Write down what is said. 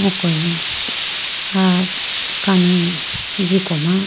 okoye bo aah kani jiko ma.